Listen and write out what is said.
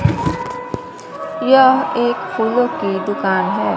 यह एक फूलों की दुकान है।